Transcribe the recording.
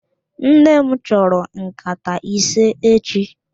Nnem chọrọ nkata ise echi